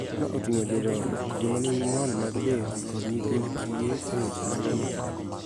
Ma oting�o jodongo, joma nigi ng'ol mag del, kod nyithind kiye�e weche mag omenda.